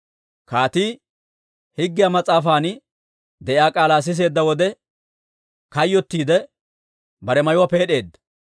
Kaatii Higgiyaa mas'aafan de'iyaa k'aalaa siseedda wode, kayyottiidde bare mayuwaa peed'eedda.